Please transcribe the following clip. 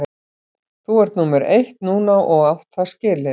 Þú ert númer eitt núna og átt það skilið.